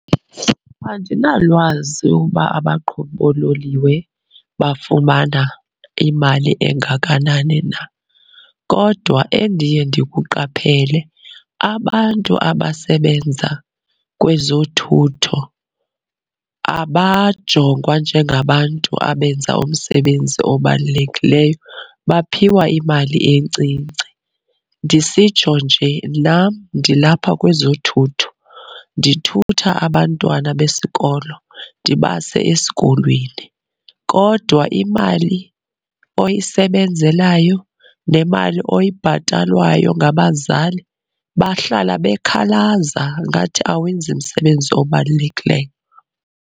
Andinalwazi uba abaqhubi boololiwe bafumana imali engakanani na. Kodwa endiye ndikuqaphele abantu abasebenza kwezothutho abajongwa njengabantu abenza omsebenzi obalulekileyo, baphiwa imali encinci. Ndisitsho nje nam ndilapha kwezothutho, ndithutha abantwana besikolo ndibase esikolweni. Kodwa imali oyisebenzelayo nemali oyibhatalwayo ngabazali, bahlala bekhalaza ngathi awenzi msebenzi obalulekileyo.